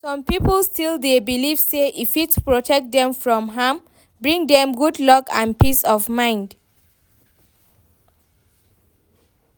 Some people still dey believe say e fit protect dem from harm, bring dem good luck and peace of mind.